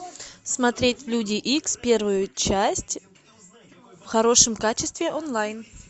смотреть люди икс первую часть в хорошем качестве онлайн